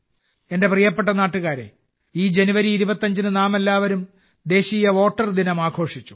എന്റെ പ്രിയപ്പെട്ട നാട്ടുകാരേ ഈ ജനുവരി 25ന് നാമെല്ലാവരും ദേശീയ വോട്ടർ ദിനം ആഘോഷിച്ചു